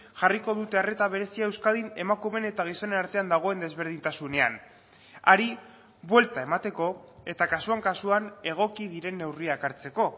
jarriko dute arreta berezia euskadin emakumeen eta gizonen artean dagoen desberdintasunean hari buelta emateko eta kasuan kasuan egoki diren neurriak hartzeko